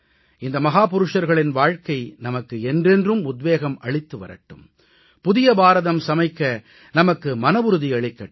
இந்த மாமனிதர்களின் வாழ்கை நமக்கு என்றென்றும் உத்வேகம் அளித்து வரட்டும் புதிய பாரதம் சமைக்க நமக்கு மனவுறுதி அளிக்கட்டும்